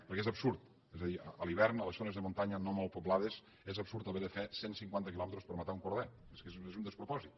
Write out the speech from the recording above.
perquè és absurd és a dir a l’hivern a les zones de muntanya no molt poblades és absurd haver de fer cent cinquanta quilòmetres per matar un corder és que és un despropòsit